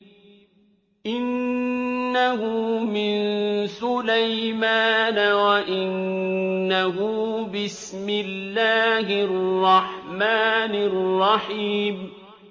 إِنَّهُ مِن سُلَيْمَانَ وَإِنَّهُ بِسْمِ اللَّهِ الرَّحْمَٰنِ الرَّحِيمِ